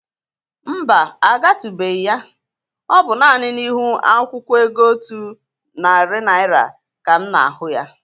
Mba, agatụbeghi ya. Ọ bụ nani n'ihu akwụkwọ ego Otu nati Naịra ka m na-ahụ ya.